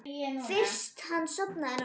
Fyrst hann sofnaði núna hér.